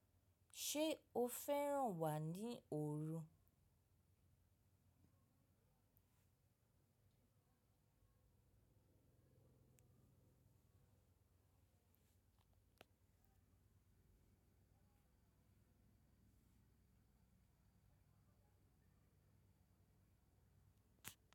Ṣé o fẹ́ràn wà ní oru?